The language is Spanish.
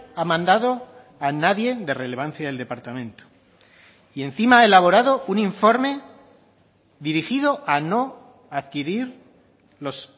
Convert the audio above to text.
ha mandado a nadie de relevancia del departamento y encima ha elaborado un informe dirigido a no adquirir los